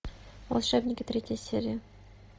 волшебники третья серия